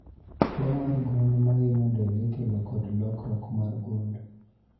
Tuo mar gund mahinyo del ikelo kod lokruok mar gund